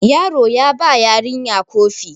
yaro ya ba yarinya Kofi